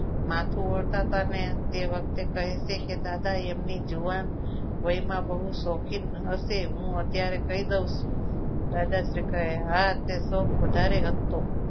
માથું ઉડતા હતા ને તે વખતે કહેલું કે દાદા તેમની જુવાની વયમાં બહુ શોખીન હશે હું અત્યારે કહી દઉં છું દાદા શ્રી કહે હા શોખ વધારે હતો.